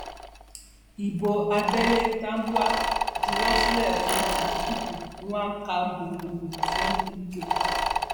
ibo abẹlé tambwal juwọ sílẹ fún àtikukú nwaжаюgbo fún wike